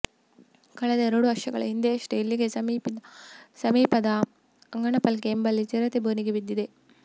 ಕಳೆದ ಎರಡು ವರ್ಷಗಳ ಹಿಂದೆಯಷ್ಟೇ ಇಲ್ಲಿಗೆ ಸಮೀಪದ ಅಂಗಡಿಪಲ್ಕೆ ಎಂಬಲ್ಲಿ ಚಿರತೆ ಬೋನಿಗೆ ಬಿದ್ದಿದೆ